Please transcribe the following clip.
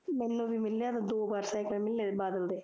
ਮੈਨੂੰ ਵੀ ਮਿਲਿਆ ਸੀ ਦੋ ਵਾਰ ਸਾਈਕਲ ਮਿਲੇ ਬਾਦਲ ਦੇ